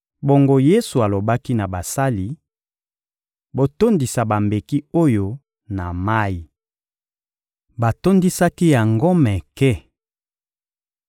Bongo Yesu alobaki na basali: — Botondisa bambeki oyo na mayi. Batondisaki yango meke.